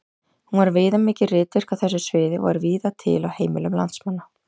Hún var viðamikið ritverk á þessu sviði og var víða til á heimilum landsmanna.